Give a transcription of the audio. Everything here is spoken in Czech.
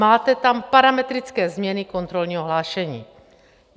Máte tam parametrické změny kontrolního hlášení.